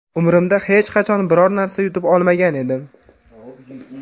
Umrimda hech qachon biror narsa yutib olmagan edim.